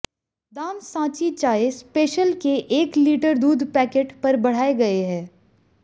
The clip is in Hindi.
दाम सांची चाय स्पेशल के एक लीटर दूध पैकेट पर बढ़ाए गए हैं